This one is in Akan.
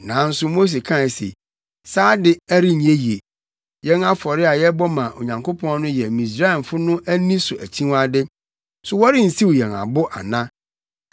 Nanso Mose kae se, “Saa de, ɛrenyɛ ye. Yɛn afɔre a yɛbɔ ma Onyankopɔn no yɛ Misraimfo no ani so akyiwade, so wɔrensiw yɛn abo ana?